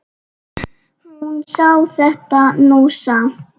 Hún sá þetta nú samt.